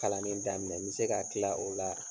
Kalan ni daminɛ, n be se ka kila o la